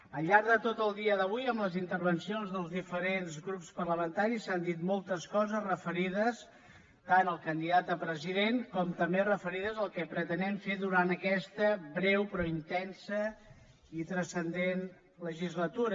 al llarg de tot el dia d’avui en les intervencions dels diferents grups parlamentaris s’han dit moltes coses referides tant al candidat a president com també referides al que pretenem fer durant aquesta breu però intensa i transcendent legislatura